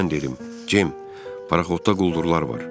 Mən dedim: Cim, paraxodda quldurlar var.